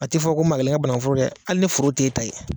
A ti fɔ ko maa kelen ka banaŋuforo dɛ hali ni foro t'e ta ye